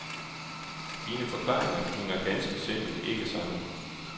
Dine forklaringer hænger ganske simpelt ikke sammen.